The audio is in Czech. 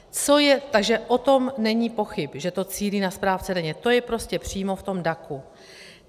Takže o tom není pochyb, že to cílí na správce daně, to je prostě přímo v tom DAC.